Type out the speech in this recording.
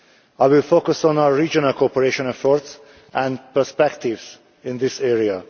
I will focus on our regional cooperation efforts and perspectives in this area.